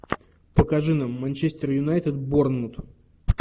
покажи нам манчестер юнайтед борнмут